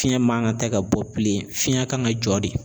Fiɲɛ man ka ta ka bɔ bilen fiɲɛ kan ka jɔ de